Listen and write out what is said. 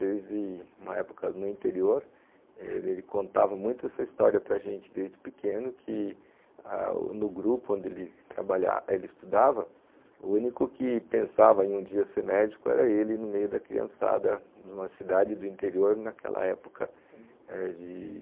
Desde uma época no interior, ele contava muito essa história para gente desde pequeno, que no grupo onde ele estudava, o único que pensava em um dia ser médico era ele no meio da criançada, numa cidade do interior, naquela época de...